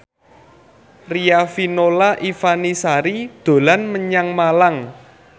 Riafinola Ifani Sari dolan menyang Malang